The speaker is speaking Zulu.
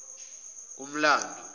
kumlando